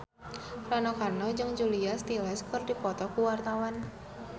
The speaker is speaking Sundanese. Rano Karno jeung Julia Stiles keur dipoto ku wartawan